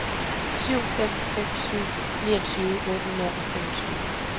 syv fem fem syv niogtyve otte hundrede og femogtyve